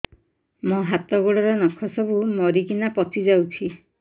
ମୋ ହାତ ଗୋଡର ନଖ ସବୁ ମରିକିନା ପଚି ଯାଉଛି